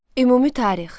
Ümumi tarix.